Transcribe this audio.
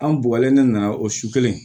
An bugɔlen dɔ nana o su kelen